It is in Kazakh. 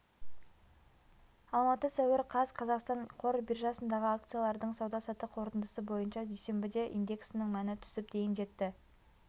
алматы сәуір қаз қазақстан қор биржасындағы акциялардың сауда-саттық қорытындысы бойынша дүйсенбіде индексінің мәні түсіп дейін жетті